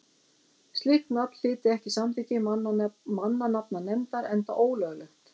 slíkt nafn hlyti ekki samþykki mannanafnanefndar enda ólöglegt